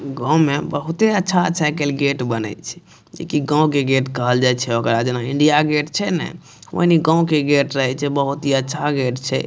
गांव में बहुते अच्छा अच्छा आय काएल गेट बने छै जैकी गांव के गेट कहल जाये छै ओकरा आ जाना इंडिया गेट छै ने ओनेइये गांव के गेट रहे छै बहुत ही अच्छा गेट छै।